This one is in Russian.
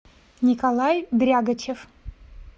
николай дрягочев